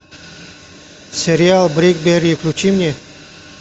сериал бриклберри включи мне